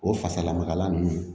O fasalamakala ninnu